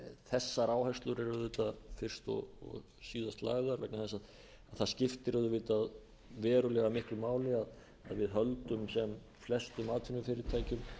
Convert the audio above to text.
þessar áherslur eru auðvitað fyrst og síðast lagðar vegna þess að það skiptir auðvitað verulega miklu máli að við höldum sem flestum atvinnufyrirtækjum í